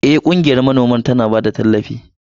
Eh, ƙungiyar manoman tana ba da tallafi.